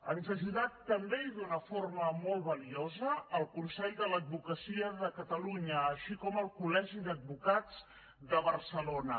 ens ha ajudat també i d’una forma molt valuosa el consell de l’advocacia de catalunya així com el col·legi d’advocats de barcelona